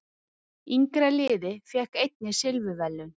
Yngra liðið fékk einnig silfurverðlaun